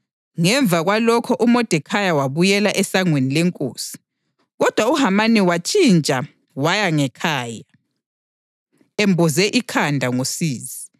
Ngemva kwalokho uModekhayi wabuyela esangweni lenkosi. Kodwa uHamani watshitsha waya ngekhaya, emboze ikhanda ngosizi,